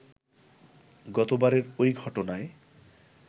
গতবারের ঐ ঘটনায়